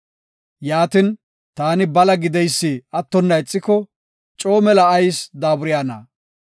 Yaatin, taani bala gideysi attonna ixiko, coo mela ayis daaburayna?